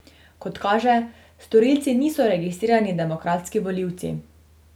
Kot kaže, storilci niso registrirani demokratski volivci.